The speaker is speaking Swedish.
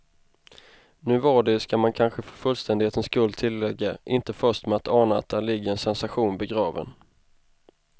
Nu var de, ska man kanske för fullständighetens skull tillägga, inte först med att ana att där ligger en sensation begraven.